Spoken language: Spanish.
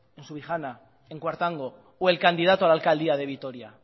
en subijana en cuartango o el candidato a la alcaldía de vitoria